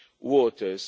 waters.